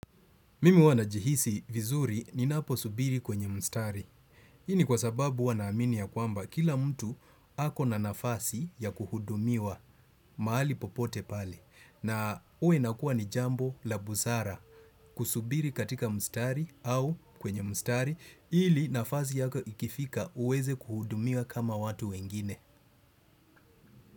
Mimi huwa najihisi vizuri ninapo subiri kwenye mstari. Hii ni kwa sababu huwa naamini ya kwamba kila mtu ako na nafasi ya kuhudumiwa mahali popote pale. Na huwa inakuwa ni jambo la busara kusubiri katika mstari au kwenye mstari ili nafasi yako ikifika uweze kuhudumiwa kama watu wengine.